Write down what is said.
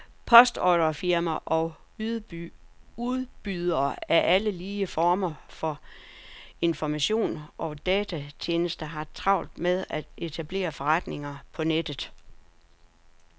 Postordrefirmaer og udbydere af alle mulige former for informationer og datatjenester har travlt med at etablere forretninger på nettet.